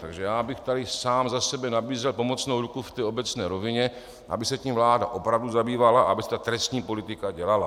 Takže já bych tady sám za sebe nabízel pomocnou ruku v té obecné rovině, aby se tím vláda opravdu zabývala a aby se ta trestní politika dělala.